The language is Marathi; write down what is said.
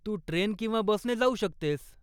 तू ट्रेन किंवा बसने जाऊ शकतेस.